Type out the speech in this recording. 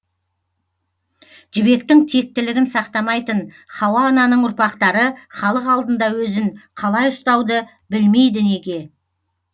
жібектің тектілігін сақтамайтын хауа ананың ұрпақтары халық алдында өзін қалай ұстауды білмейді неге